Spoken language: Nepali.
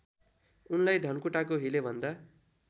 उनलाई धनकुटाको हिलेभन्दा